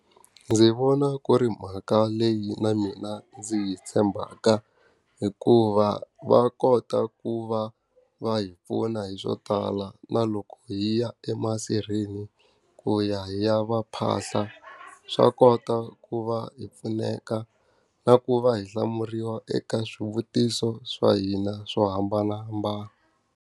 Ndzi vona ku ri mhaka leyi na mina ndzi yi tshembaka. Hikuva va kota ku va va hi pfuna hi swo tala, na loko hi ya emasirheni ku ya hi ya va phahla, swa kota ku va hi pfuneka. Na ku va hi hlamuriwa eka swivutiso swa hina swo hambanahambana.